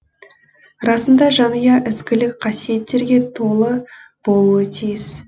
расында жанұя ізгілік қасиеттерге толы болуы тиіс